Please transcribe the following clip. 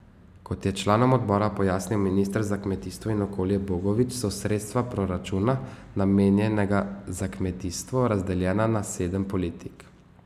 Kot je članom odbora pojasnil minister za kmetijstvo in okolje Bogovič, so sredstva proračuna, namenjenega za kmetijstvo, razdeljena na sedem politik.